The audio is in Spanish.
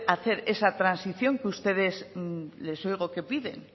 hacer esa transición que ustedes les oigo que piden